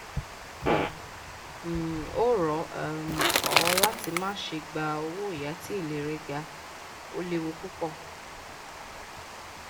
n um ò rọ um ọ láti má ṣe gba owóyàá tí èlé rẹ ga ó léwu púpọ